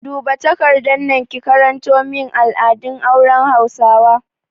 Duba takardar nan ki karanto min al'adun auren hausawa!